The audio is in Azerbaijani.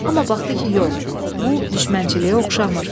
Amma baxdı ki yox, bu düşmənçiliyə oxşamır.